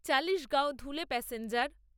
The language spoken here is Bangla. চালিশগাওঁ ধুলে প্যাসেঞ্জার